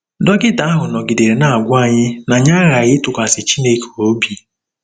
Dọkịta ahụ nọgidere na-agwa anyị na anyị aghaghị ịtụkwasị Chineke obi